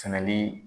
Sɛnɛli